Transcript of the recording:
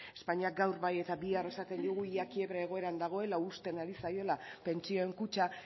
ez espainiak gaur bai eta bihar esaten digu ia kiebra egoeran dagoela uzten ari zaiola pentsioen kutxa